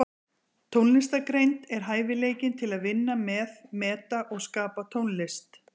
Tónlistargreind er hæfileikinn til að vinna með, meta og skapa tónlist.